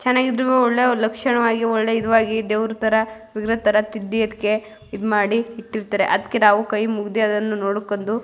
ಚೆನ್ನಾಗಿ ಇದ್ದವು ಒಳ್ಳೆ ಲಕ್ಷಣವಾಗಿ ಒಳ್ಳೆ ಇದವಾಗಿ ದೇವ್ರ ತರ ವಿಗ್ರಹ ತರ ತಿದ್ದಿ ಅದ್ಕ್ಕೆ ಇದ್ ಮಾಡಿ ಇಟ್ಟಿರ್ತಾರೆ ಅದ್ಕೆ ನಾವು ಕೈ ಮುಗ್ದಿ ನೋಡ್ಕೊಂದು --